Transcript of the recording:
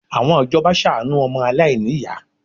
Àwọn ìjọba ṣàánú ọmọ aláìníyàá